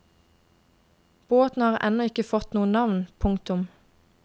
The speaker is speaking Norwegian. Båten har ennå ikke fått noe navn. punktum